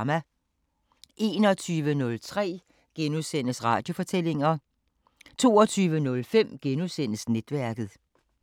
21:03: Radiofortællinger * 00:05: Netværket *